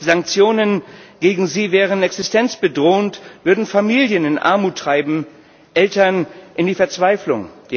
Sanktionen gegen sie wären existenzbedrohend, würden Familien in Armut treiben, Eltern in die Verzweiflung.